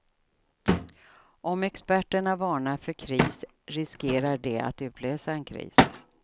Om experterna varnar för kris riskerar de att utlösa en kris.